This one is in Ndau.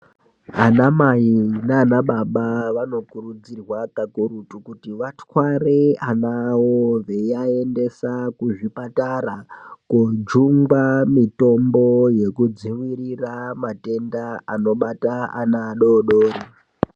Ana mai nanababa vanokurudzirwa kakurutu kuti vatware ana awo eivaendesa kuzvipatara kojungwa mutombo wekudzivirira matenda anobare ana adodori .